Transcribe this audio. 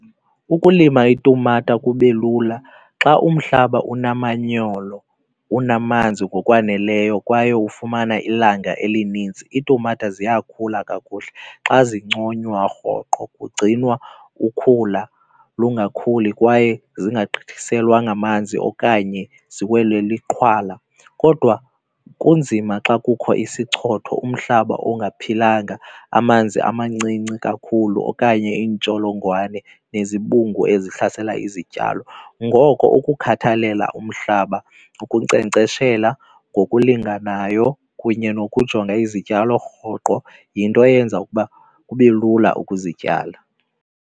Ukulima itumata kube lula xa umhlaba unamanyolo, unamanzi ngokwaneleyo kwaye ufumana ilanga elininzi iitumata ziyakhula kakuhle. Xa zinconywa rhoqo, kugcinwa ukhula lungakhuli kwaye zingagqithiselwa ngamanzi okanye ziwelwe liqhwala. Kodwa kunzima xa kukho isichotho, umhlaba ongaphilanga, amanzi amancinci kakhulu okanye iintsholongwane nezibungu ezihlasela izityalo. Ngoko ukukhathalela umhlaba, ukunkcenkceshela ngokulinganayo kunye nokujonga izityalo rhoqo yinto eyenza ukuba kube lula ukuzityala.